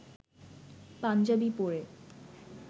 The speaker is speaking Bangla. পাঞ্জাবি পরে